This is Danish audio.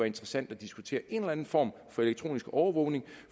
interessant at diskutere en eller anden form for elektronisk overvågning